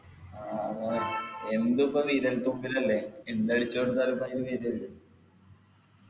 ആ ആ എന്തുപ്പൊ വിരല്തുമ്പിലല്ലേ എന്തടിച്ചു കൊടുത്താലും ഇപ്പൊ അയില് വെരുഅല്ലോ